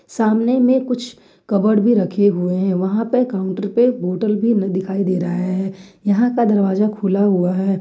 सामने में कुछ कपबोर्ड भी रखे हुए है वहां पे काउंटर पे बोटल भी दिखाई दे रहा है यहां का दरवाजा खुला हुआ है।